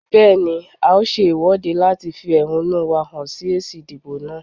Bẹ́ẹ̀ni, a ó ṣe ìwọ́de láti fi ẹ̀húnú wá hàn sí èsì ìdìbò náà.